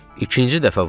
İkinci dəfə vurdu.